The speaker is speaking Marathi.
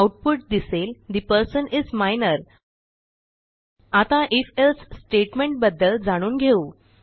आऊटपुट दिसेल ठे पर्सन इस मायनर आता ifएल्से स्टेटमेंट बद्दल जाणून घेऊ